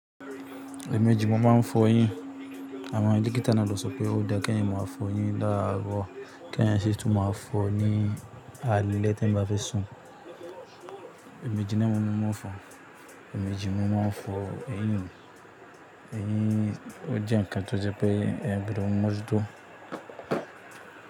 Èèmejì mo ma n fọ eyín. Àwọn dọ́kítà náà ló sọ pé ó dáa kí eeyan máa fọ eyín làárọ̀, kí eeyan sì tún máa fọ ní alẹ́ tí eeyan bá fẹ́ sùn. Èèmejì ni mo ń fọ, èèmejì ni mo ma n fọ eyín. Eyín, o jẹ nǹkan tó jẹ pé eeyan gbodo mọ́jú tó.